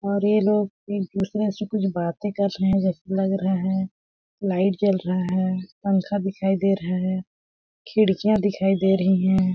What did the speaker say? और ये लोग एक दूसरे से कुछ बातें कर रहे जैसे लग रहा है लाइट जल रहा है पंखा दिखाई दे रहा है खिड़कियाँ दिखाई दे रही है।